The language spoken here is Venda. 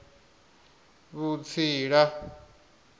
vhutsila